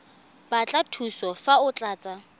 batla thuso fa o tlatsa